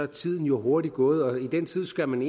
tiden jo hurtigt gået og i den tid skal man